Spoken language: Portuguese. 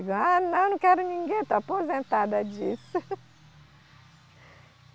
Digo, ah não, não quero ninguém, estou aposentada disso.